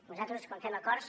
nosaltres quan fem acords